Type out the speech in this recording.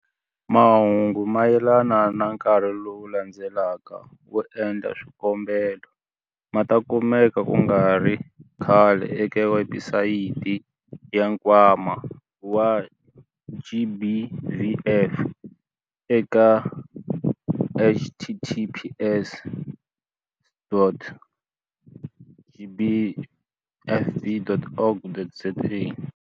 Mahungu mayelana na nkarhi lowu landzelaka wo endla swikombelo ma ta kumeka ku nga ri khale eka webusayiti ya Nkwama wa GBVF eka- https.gbvf.org.za.